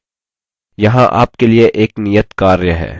यहाँ आपके लिए एक नियत कार्य है: